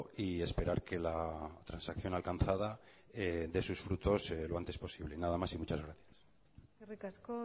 y esperar que la transacción alcanzada dé sus frutos lo antes posible nada más y muchas gracias eskerrik asko